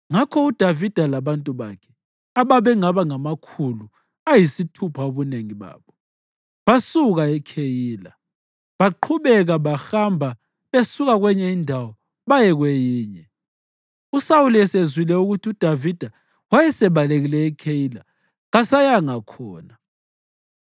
Ngakho uDavida labantu bakhe, ababengaba ngamakhulu ayisithupha ubunengi babo, basuka eKheyila baqhubeka behamba besuka kwenye indawo baye kwenye. USawuli esezwile ukuthi uDavida wayesebalekile eKheyila kasayanga khona.